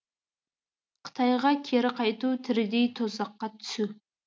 қытайға кері қайту тірідей тозаққа түсу